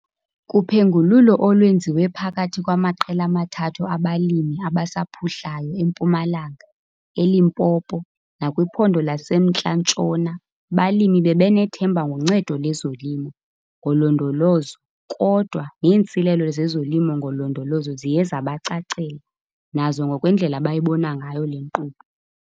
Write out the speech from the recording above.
Kuphengululo olwenziwe phakathi kwamaqela amathathu abalimi abasaphuhlayo eMpumalanga, eLimpopo nakwiPhondo laseMntla-Ntshona, abalimi bebenethemba ngoncedo lezolimo ngolondolozo kodwa neentsilelo zezoLimo ngoLondolozo ziye zabacacela nazo ngokwendlela abayibona ngayo le nkqubo.